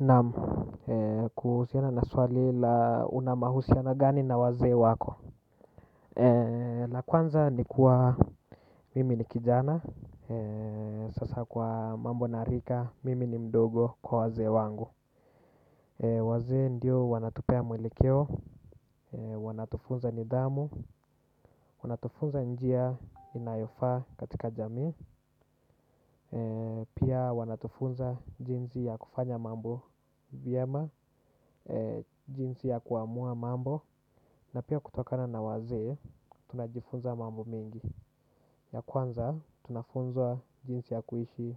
Naam, kuhusiana na swali la una mahusiano gani na wazee wako. La kwanza ni kuwa mimi ni kijana, sasa kwa mambo na rika, mimi ni mdogo kwa wazee wangu. Wazee ndio wanatupee mwelekeo, wanatufunza nidhamu, wanatufunza njia inayofaa katika jamii. Pia wanatufunza jinsi ya kufanya mambo vyema, jinsi ya kuamua mambo na pia kutokana na wazee, tunajifunza mambo mingi. Ya kwanza, tunafunzwa jinsi ya kuishi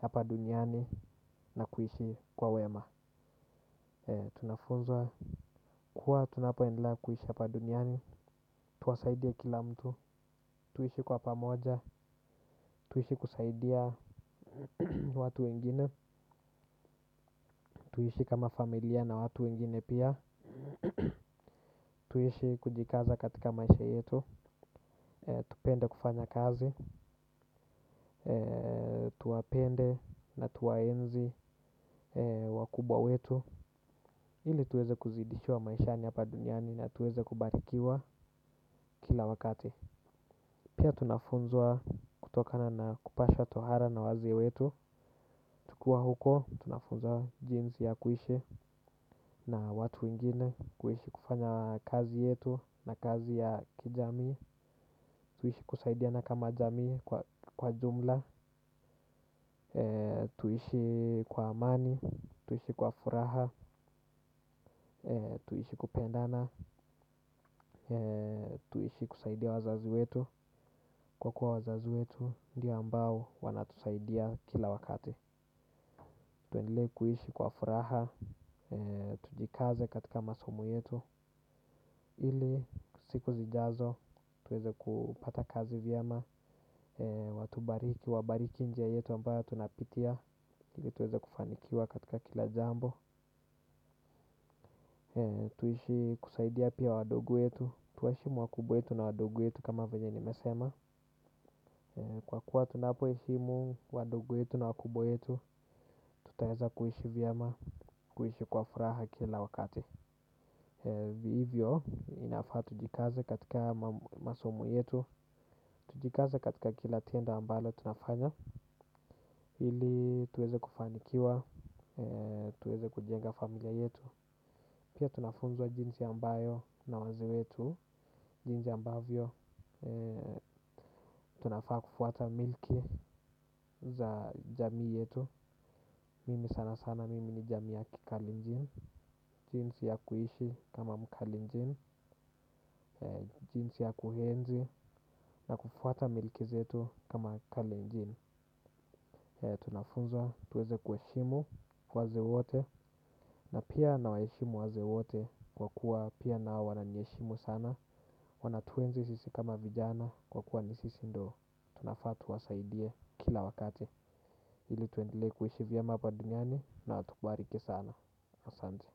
hapa duniani na kuishi kwa wema. Tunafunzwa kuwa, tunapoendelea kuishi hapa duniani. Tuwasaidie kila mtu, tuishi kwa pamoja, tuishi kusaidia watu wengine. Tuishi kama familia na watu wengine pia. Tuishi kujikaza katika maisha yetu. Tupende kufanya kazi. Tuwapende na tuwaenzi wakubwa wetu. Ili tuweze kuzidishiwa maishani hapa duniani na tuweze kubarikiwa kila wakati. Pia tunafunzwa kutokana na kupashwa tohara na wazazi wetu. Tukiwa huko, tunafunzwa jinsi ya kuishi na watu wengine. Kuishi kufanya kazi yetu na kazi ya kijamii. Tuishi kusaidiana kama jamii kwa jumla. Tuishi kwa amani. Tuishi kwa furaha. Tuishi kupendana. Tuishi kusaidia wazazi wetu kwa kuwa wazazi wetu ndio ambao wanatusaidia kila wakati. Tuendelee kuishi kwa furaha. Tujikaze katika masomo yetu. Ili siku zijazo tuweze kupata kazi vyema. Watubariki, wabariki njia yetu ambayo tunapitia ili tuweza kufanikiwa katika kila jambo. Tuishi kusaidia pia wadogo wetu. Tuwaheshimu wakubwa wetu na wadogo wetu kama vile nimesema kwa kuwa tunapoheshimu wadogo wetu na wakubwa wetu. Tutaweza kuishi vyema, kuishi kwa furaha kila wakati hivyo, inafaa tujikaze katika masomo yetu. Tujikaze katika kila tendo ambalo tunafanya ili tuweze kufanikiwa, tuweze kujenga familia yetu. Pia tunafunzwa jinsi ambayo na wazazi wetu. Jinsi ambavyo tunafaa kufuata milki za jamii yetu. Mimi sanasana, mimi ni jamii ya kikalenjin. Jinsi ya kuishi kama mkalenjin. Jinsi ya kuhenzi na kufuata milki zetu kama kalenjin. Tunafunzwa, tuweze kuheshimu wazazi wote na pia nawaheshimu wazazi wote kwa kuwa pia nao wananiheshimu sana. Wanatuenzi sisi kama vijana kwa kuwa ni sisi ndo. Tunafaa tuwasaidie kila wakati ili tuendelee kuishi vyema hapa duniani na watubariki sana. Asante.